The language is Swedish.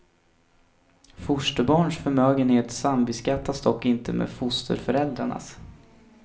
Fosterbarns förmögenhet sambeskattas dock inte med fosterföräldrarnas.